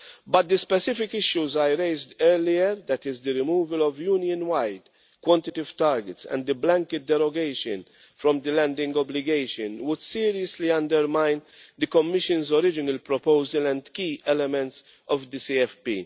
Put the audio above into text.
but the specific issues I raised earlier that is the removal of Union-wide quantitative targets and the blanket derogation from the landing obligation would seriously undermine the Commission's original proposal and key elements of the CFP.